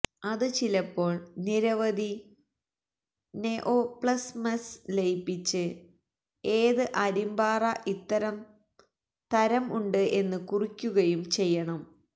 അത് ചിലപ്പോൾ നിരവധി നെഒപ്ലസ്മ്സ് ലയിപ്പിച്ച് ഏത് അരിമ്പാറ ഇത്തരം തരം ഉണ്ട് എന്ന് കുറിക്കുകയും ചെയ്യണം